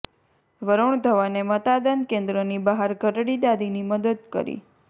વરૂણ ધવને મતાદન કેન્દ્રની બહાર ઘરડી દાદીની કરી મદદ